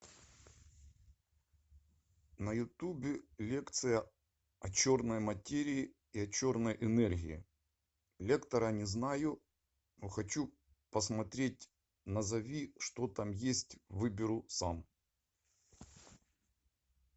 на ютубе лекция о черной материи и о черной энергии лектора не знаю но хочу посмотреть назови что там есть выберу сам